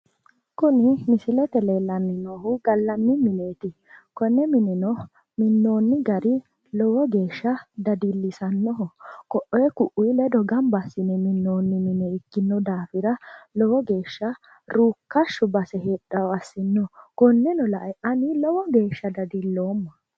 kuni misilete leellanni noohu gallanni mineeti konne mineno minnoonni gari lowo geeshsha dadillisannoho koee kuii ledo gamba assine minnoonniha ikkino daafira lowo geeshsha ruukkashshao base heedhanno gede assino konneno lae ani lowo geeshsha dadilloomma.